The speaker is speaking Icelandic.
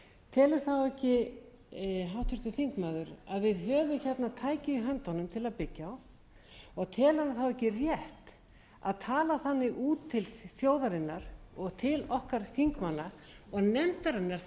telur háttvirtur þingmaður ekki að við höfum þarna tæki í höndunum til að byggja á telur hann ekki rétt að tala þannig út til þjóðarinnar og til okkar þingmanna og nefndarinnar þingmannanefndarinnar sem á að